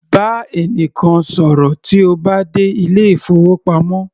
Bá ẹnìkan ṣọ̀rọ̀ tí o bá dé ilé ìfowópamọ́